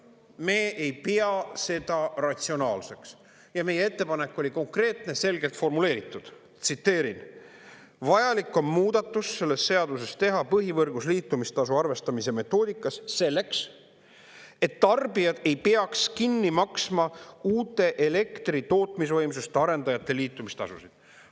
Me ei pea seda ratsionaalseks ja meie ettepanek oli konkreetne, selgelt formuleeritud, tsiteerin: "Vajalik on muudatus selles seaduses teha põhivõrgus liitumistasu arvestamise metoodikas selleks, et tarbijad ei peaks kinni maksma uute elektritootmisvõimsuste arendajate liitumistasusid.